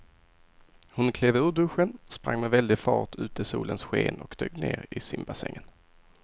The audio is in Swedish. Hon klev ur duschen, sprang med väldig fart ut i solens sken och dök ner i simbassängen.